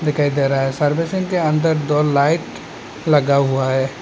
दिखाई दे रहा है सर्विसिंग के अंदर दो लाइट लगा हुआ है।